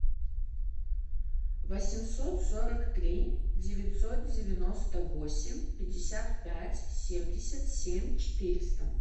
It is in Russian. восемьсот сорок три девятьсот девяносто восемь пятьдесят пять семьдесят семь четыреста